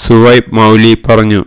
സുഹൈബ് മൌലവി പറഞ്ഞു